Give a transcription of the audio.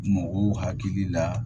Mɔgɔw hakili la